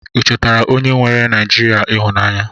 I chọtara onye nweere Naijiria ịhụnanya?